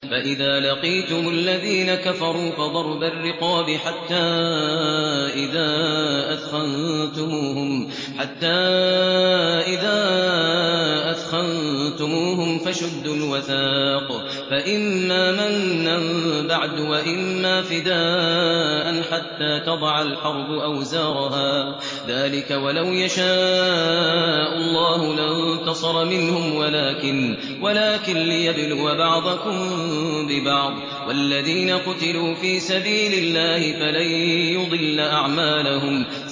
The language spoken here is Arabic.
فَإِذَا لَقِيتُمُ الَّذِينَ كَفَرُوا فَضَرْبَ الرِّقَابِ حَتَّىٰ إِذَا أَثْخَنتُمُوهُمْ فَشُدُّوا الْوَثَاقَ فَإِمَّا مَنًّا بَعْدُ وَإِمَّا فِدَاءً حَتَّىٰ تَضَعَ الْحَرْبُ أَوْزَارَهَا ۚ ذَٰلِكَ وَلَوْ يَشَاءُ اللَّهُ لَانتَصَرَ مِنْهُمْ وَلَٰكِن لِّيَبْلُوَ بَعْضَكُم بِبَعْضٍ ۗ وَالَّذِينَ قُتِلُوا فِي سَبِيلِ اللَّهِ فَلَن يُضِلَّ أَعْمَالَهُمْ